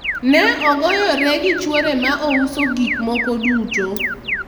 ne ogoyore gi chuore ma ouso gik moko duto